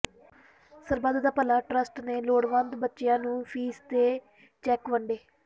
ਸਰਬੱਤ Da Bhala trust ਨੇ ਲੋੜਵੰਦ ਬੱਚਿਆਂ ਨੂੰ ਫੀਸ ਦੇ ਚੈੱਕ ਵੰਡੇ